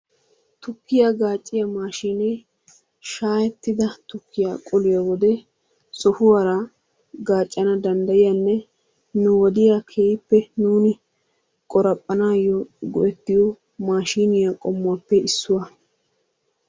Tukkiyaa gaacciya maashiinee shaayettida tukkiya qoliyo wode sohuwara gaaccana danddayiyanne nu wodiya keehippe nuuni qoraphphanaayyo go'ettiyo maashiiniya qommuwappe issuwa.